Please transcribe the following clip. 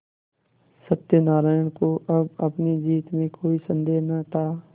सत्यनाराण को अब अपनी जीत में कोई सन्देह न था